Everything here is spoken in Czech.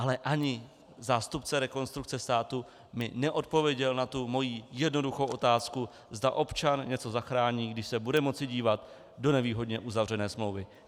Ale ani zástupce Rekonstrukce státu mi neodpověděl na tu moji jednoduchou otázku, zda občan něco zachrání, když se bude moci dívat do nevýhodně uzavřené smlouvy.